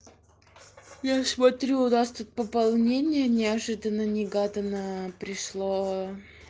я смотрю у нас тут пополнения неожиданно негаданно пришло